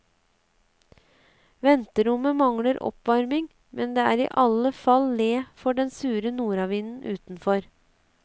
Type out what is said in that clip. Venterommet mangler oppvarming, men det er i alle fall le for den sure nordavinden utenfor.